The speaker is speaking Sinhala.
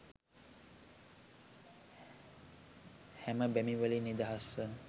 හැම බැමි වලින් නිදහස්ව